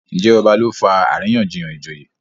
Njé ọba ló fà àríyànjiyàn ìjòyè?